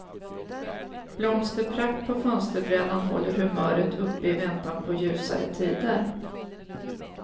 Blomsterprakt på fönsterbrädan håller humöret uppe i väntan på ljusare tider.